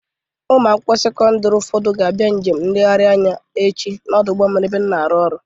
Ụmụ akwụkwọ sekọndịrị ụfọdụ ga-abịa njem nlegharị anya echi n'ọdụ ụgbọ mmiri ebe m na-arụ ọrụ.